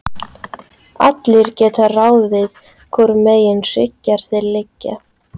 Allir geta ráðið hvorum megin hryggjar þeir liggja.